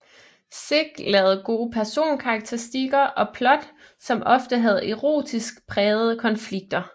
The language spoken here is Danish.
Sick lavede gode personkarakteristikker og plot som ofte havde erotisk prægede konflikter